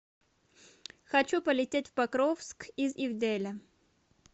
хочу полететь в покровск из ивделя